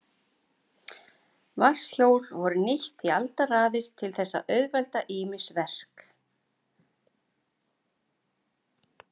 Vatnshjól voru nýtt í aldaraðir til þess að auðvelda ýmis verk.